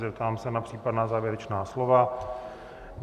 Zeptám se na případná závěrečná slova.